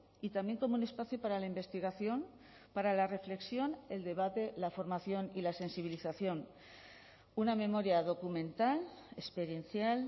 y también como un espacio para la investigación para la reflexión el debate la formación y la sensibilización una memoria documental experiencial